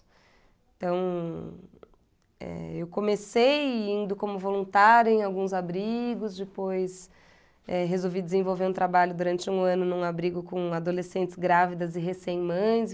Então, eh, eu comecei indo como voluntária em alguns abrigos, depois eh resolvi desenvolver um trabalho durante um ano num abrigo com adolescentes grávidas e recém mães.